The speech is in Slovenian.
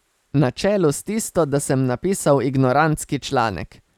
Na čelu s tisto, da sem napisal ignorantski članek.